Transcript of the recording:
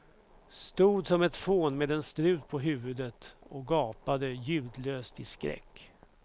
Stod som ett fån med en strut på huvudet och gapade ljudlöst i skräck.